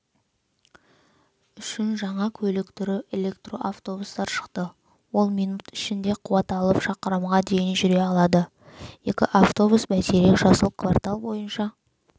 үшін жаңа көлік түрі электроавтобустар шықты ол минут ішінде қуат алып шақырымға дейін жүре алады екі автобус бәйтерек жасыл квартал бойынша